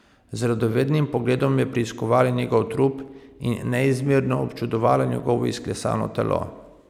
Z radovednim pogledom je preiskovala njegov trup in neizmerno občudovala njegovo izklesano telo.